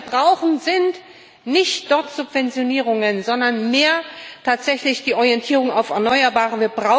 Was wir brauchen, sind nicht dort Subventionierungen, sondern tatsächlich mehr Orientierung auf Erneuerbare.